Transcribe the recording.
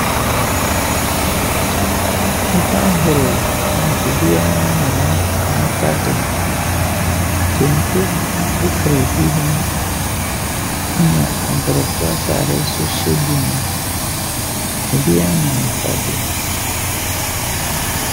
Nipa ahorow ne obira ne n'afaade. Kente fura ebinom. Ɛha Abrɔfoɔ ataare nso hyɛ binom. Obiara ne n'afade.